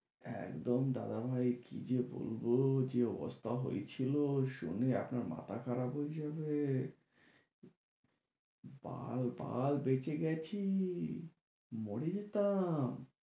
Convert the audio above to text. একদম দাদা ভাই কি যে বলবো, যে অবস্থা হয়েছিলো শুনে আপনার মাথা খারাপ হয়ে যাবে। বালবাল বেঁচে গেছি, মরে যেতাম।